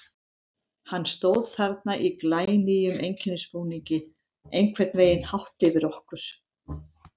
Hann stóð þarna í glænýjum einkennisbúningi, einhvern veginn hátt yfir okkur.